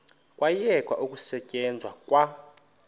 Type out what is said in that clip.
kwayekwa ukusetyenzwa kwa